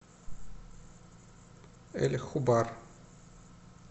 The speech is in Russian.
эль хубар